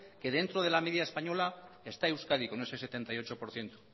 que dentro de la media española está euskadi con ese setenta y ocho por ciento